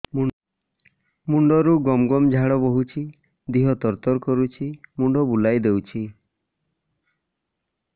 ମୁଣ୍ଡରୁ ଗମ ଗମ ଝାଳ ବହୁଛି ଦିହ ତର ତର କରୁଛି ମୁଣ୍ଡ ବୁଲାଇ ଦେଉଛି